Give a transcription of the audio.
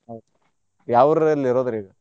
ಹೌದ ಯಾವುರ್ ಅಲ್ರೀ ಇರೋದ್ ಈಗ?